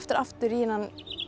aftur í þennan